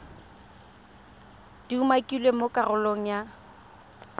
di umakilweng mo karolong ya